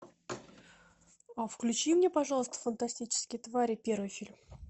включи мне пожалуйста фантастические твари первый фильм